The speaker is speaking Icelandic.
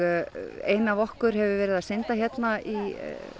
ein af okkur hefur verið að synda hérna í